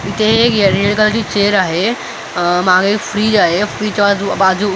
इथे एक कलरची चेअर आहे अ मागे एक फ्रीज आहे फ्रीजच्या बाजू बाजू--